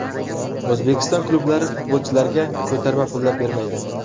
O‘zbekiston klublari futbolchilarga ko‘tarma pullari bermaydi.